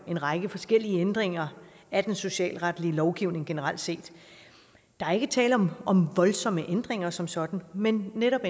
en række forskellige ændringer af den socialretlige lovgivning generelt set der er ikke tale om om voldsomme ændringer som sådan men netop